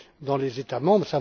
dans les États membres.